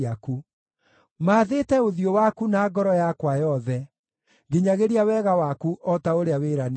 Maathĩĩte ũthiũ waku na ngoro yakwa yothe; nginyagĩria wega waku o ta ũrĩa wĩranĩire.